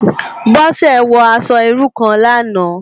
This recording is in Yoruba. Bose wò aṣò irú kán làná